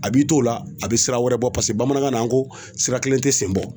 A b'i to o la a bɛ sira wɛrɛ bɔ paseke bamanankan na n ko sira kelen tɛ sen bɔ.